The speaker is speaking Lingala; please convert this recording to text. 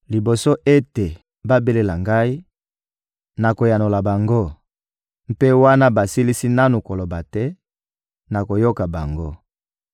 Liboso ete babelela Ngai, nakoyanola bango; mpe wana basilisi nanu koloba te, nakoyoka bango.